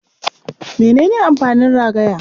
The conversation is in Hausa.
Mene ne amfanin ragaya?